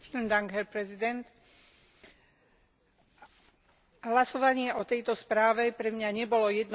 Hlasovanie o tejto správe pre mňa nebolo jednoduché a nakoniec som sa v záverečnom hlasovaní zdržala.